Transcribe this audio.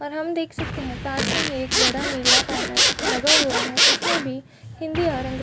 और हम देख सकते है पास में ही एक बड़ा नीला बैनर लगा हुआ है उसमे भी हिंदी और --